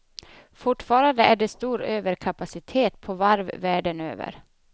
Fortfarande är det stor överkapacitet på varv världen över.